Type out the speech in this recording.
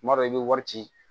Tuma dɔ i bɛ wari ci